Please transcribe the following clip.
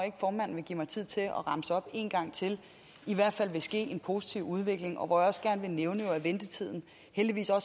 formanden vil give mig tid til at remse op en gang til i hvert fald vil ske en positiv udvikling og hvor også gerne vil nævne at ventetiden heldigvis har